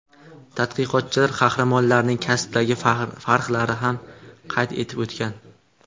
Tadqiqotchilar qahramonlarning kasbidagi farqlarni ham qayd etib o‘tgan.